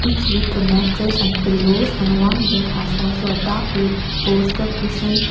each with a mattress and pillows and one bed has also a dark red poster cushion.